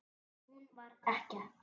Hún var ekkja.